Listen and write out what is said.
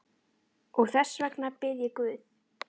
Og þess vegna bið ég guð.